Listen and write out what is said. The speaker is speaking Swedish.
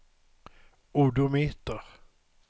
odometer